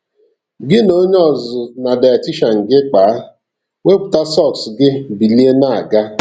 Gị na onye ọzụzụ na dietician gị kpaa, wepụta sọks gị bilie na-aga.